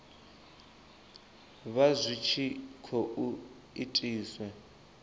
vha zwi tshi khou itiswa